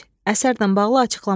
Əsərlə bağlı açıqlamalar.